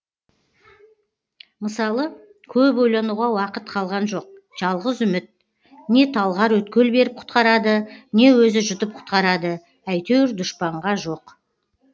мысалы көп ойлануға уақыт қалған жоқ жалғыз үміт не талғар өткел беріп құтқарады не өзі жұтып құтқарады әйтеуір дұшпанға жоқ